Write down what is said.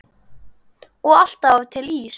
Og alltaf var til ís.